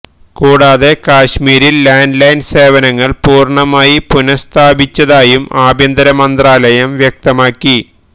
കൂടാതെ കശ്മീരില് landline സേവനങ്ങള് പൂര്ണ്ണമായി പുനസ്ഥാപിച്ചതായും ആഭ്യന്തര മന്ത്രാലയം വ്യക്തമാക്കി